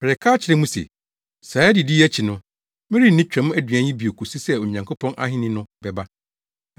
Mereka akyerɛ mo se, saa adidi yi akyi no, merenni Twam aduan yi bio kosi sɛ Onyankopɔn Ahenni no bɛba.”